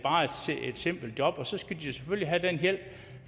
simpelt job og så skal de jo selvfølgelig have den hjælp